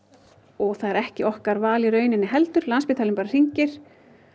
og það er ekki okkar val í rauninni heldur landspítalinn bara hringir